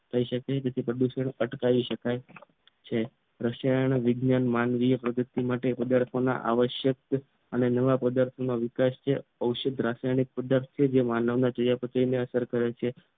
થયા શકે તે થી પ્રદૂષણ અટકાવી શકાય છે રસાયણ વિજ્ઞાન માનવીય પ્રગતિ માટે પદાર્થ આવશ્યક અને નવા પદાર્થોના વિકાસ છે ઔષધીય રાસાયણિક પદાર્થ છે માનવ ના ચયાપચયને અસર કરે છે